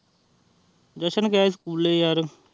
ਜਸ਼ਨ ਗਯਾ ਸ੍ਚੁਲੇ ਯਾਰਰ